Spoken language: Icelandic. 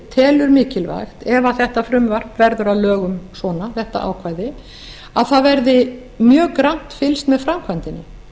telur mikilvægt ef þetta frumvarp verður að lögum svona þetta ákvæði að mjög grannt verði fylgst með framkvæmdinni